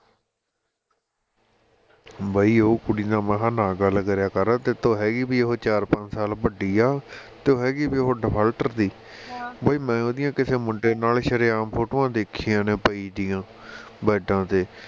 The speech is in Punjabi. ਬਹਿ ਉਹ ਕੁੜੀ ਨਾਲ ਮੈਂ ਕਿਹਾ ਨਾ ਗੱਲ ਕਰਿਆ ਕਰ ਉੱਤੋਂ ਹੈਗੀ ਵੀ ਉਹ ਚਾਰ ਪੰਜ ਸਾਲ ਵੱਡੀ ਆ ਤੇ ਹੈਗੀ ਵੀ ਉਹ defaulter ਦੀ ਬਹਿ ਮੈਂ ਉਹਦੀਆਂ ਕਿਸੇ ਮੁੰਡੇ ਨਾਲ ਸ਼ਰੇਆਮ photo ਵਾਂ ਦੇਖੀਆਂ ਨੇ ਪਈ ਦੀਆ ਬੈੱਡਾਂ ਤੇ